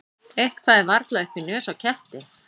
Eitthvað er varla upp í nös á ketti